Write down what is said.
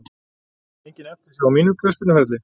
Einhver eftirsjá á mínum knattspyrnuferli?